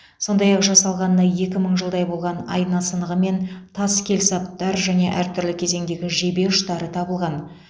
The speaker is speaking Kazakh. сондай ақ жасалғанына екі мың жылдай болған айна сынығы мен тас келсаптар және әртүрлі кезеңдегі жебе ұштары табылған